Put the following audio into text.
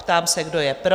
Ptám, se kdo je pro?